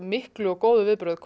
mikil og góð viðbrögð